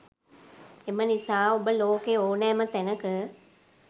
එම නිසා ඔබ ලෝකේ ඕනෑම තැනක